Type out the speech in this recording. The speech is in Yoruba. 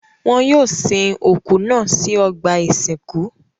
Wọn yóò sin òkú náà sí ọgbà-ìsìnkú.